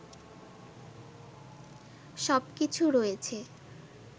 সবকিছু রয়েছে